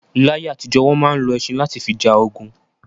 Láyé àtìjọ́, wọn máa ń lọ ẹṣin lati fi ja ogun